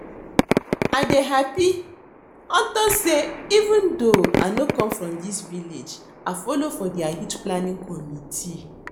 I dey happy unto say even though I no come from dis village I follow for their youth planning committee